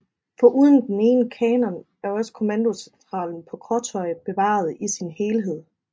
Foruden den ene kanon er også kommandocentralen på Krøttøy bevaret i sin helhed